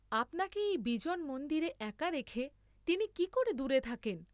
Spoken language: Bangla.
আপনাকে এই বিজন মন্দিরে একা রেখে তিনি কি করে দূরে থাকেন?